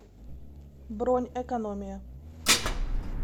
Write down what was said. бронь экономия